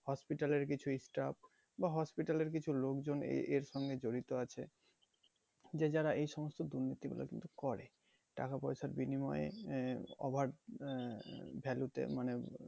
hospital এর কিছু staff বা hospital এর কিছু লোকজন এ~ এর সঙ্গে জড়িত আছে যে যারা এই সমস্ত দুর্নীতিগুলো কিন্তু করে টাকা পয়সার বিনিময়ে আহ over আহ value তে মানে